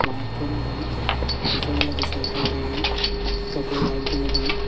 light jolodon tey se oboladi cycle degong syoto light jolodon.